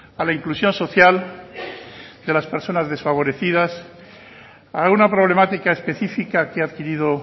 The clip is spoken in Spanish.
a la inclusión social de las personas desfavorecidas a una problemática específica que ha adquirido